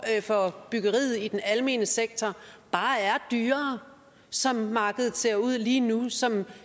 for byggeriet i den almene sektor bare er dyrere som markedet ser ud lige nu som